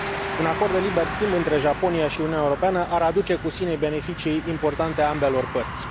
Un acord de liber schimb între Japonia și Uniunea Europeană ar aduce cu sine beneficii importante ambelor părți.